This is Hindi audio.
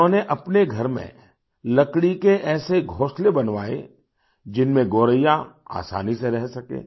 इन्होंने अपने घर में लकड़ी के ऐसे घोंसले बनवाए जिनमें गोरैया आसानी से रह सके